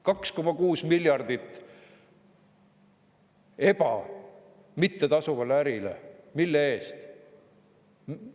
2,6 miljardit mittetasuvale ärile – mille eest?